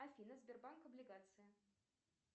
афина сбербанк облигации